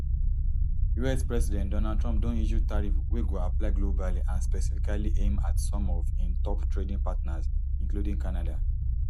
us president donald trump don issue tariff wey go apply globally and specifically aim at some of im top trading partners including canada